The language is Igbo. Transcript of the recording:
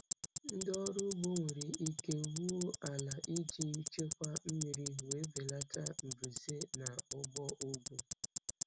Ndị ọrụ ugbo nwere ike wuo ala iji chekwaa mmiri wee belata mbuze na ugbo ugwu.